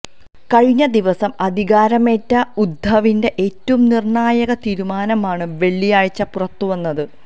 കഴിഞ്ഞ ദിവസം അധികാരമേറ്റ ഉദ്ധവിന്റെ ഏറ്റവും നിർണായക തീരുമാനമാണ് വെള്ളിയാഴ്ച പുറത്തുവന്നത്